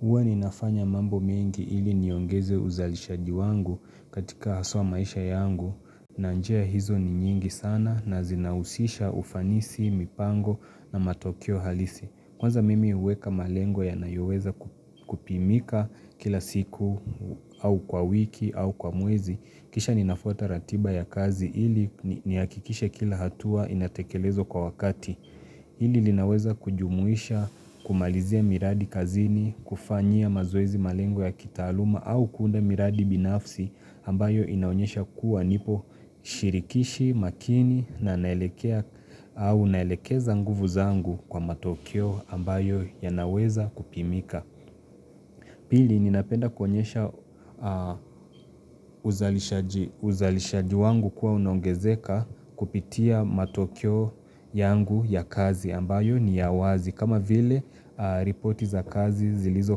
Huwa ninafanya mambo mengi ili niongeze uzalishaji wangu katika haswa maisha yangu na njia hizo ni nyingi sana na zinahusisha ufanisi, mipango na matokeo halisi. Kwanza mimi uweka malengo yanayoweza kupimika kila siku au kwa wiki au kwa mwezi. Kisha ninafuata ratiba ya kazi ili niakikishe kila hatua inatekelezwa kwa wakati. Hili linaweza kujumuisha kumalizia miradi kazini, kufanyia mazoezi malengo ya kitaaluma au kuunda miradi binafsi ambayo inaonyesha kuwa nipo shirikishi makini na naelekea au naelekeza nguvu zangu kwa matokeo ambayo yanaweza kupimika. Pili ninapenda kuonyesha uzalishaji wangu kuwa unongezeka kupitia matokeo yangu ya kazi ambayo ni ya wazi. Kama vile ripoti za kazi zilizo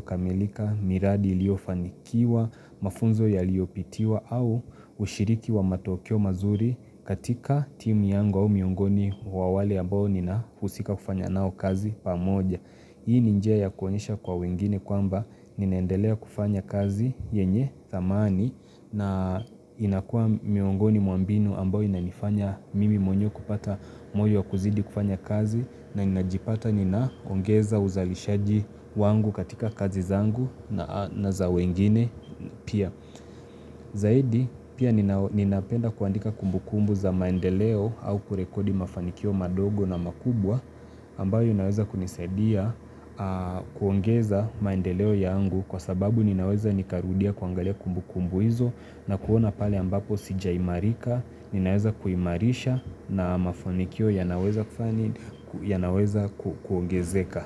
kamilika miradi iliyoanikiwa, mafunzo yaliyopitiwa au ushiriki wa matokeo mazuri katika timu yangu au miungoni wa wale ambao ninahusika kufanya nao kazi pamoja. Hii ni njia ya kuonyesha kwa wengine kwamba ninaendelea kufanya kazi yenye dhamani na inakuwa miongoni mwa mbinu ambayo inanifanya mimi mwenyewe kupata moyo wa kuzidi kufanya kazi na inajipata ninaongeza uzalishaji wangu katika kazi zangu na za wengine pia. Zaidi pia ninapenda kuandika kumbu kumbu za maendeleo au kurekodi mafanikio madogo na makubwa ambayo yanaweza kunisadia kuongeza maendeleo yangu kwa sababu ninaweza nikarudia kuangalia kumbu kumbu hizo na kuona pale ambapo sijaimarika, ninaweza kuimarisha na mafanikio yanaweza kuongezeka.